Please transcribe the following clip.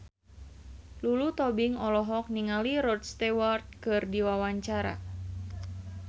Lulu Tobing olohok ningali Rod Stewart keur diwawancara